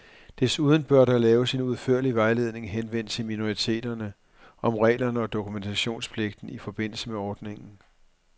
Desuden bør der laves en udførlig vejledning henvendt til minoriteterne, om reglerne og dokumentations pligten i forbindelse med ordningen.